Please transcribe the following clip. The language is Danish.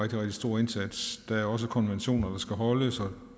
rigtig stor indsats der er også konventioner der skal holdes